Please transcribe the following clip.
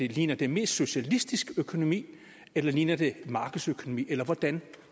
ligner det mest socialistisk økonomi eller ligner det markedsøkonomi eller hvordan